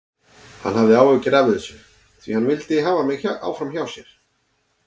Hann hafði áhyggjur af þessu því hann vildi hafa mig áfram hjá sér.